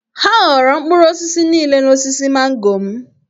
Ha ghọọrọ mkpụrụ osisi niile n’osisi mango m.